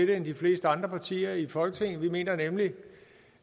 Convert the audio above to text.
det end de fleste andre partier i folketinget vi mener nemlig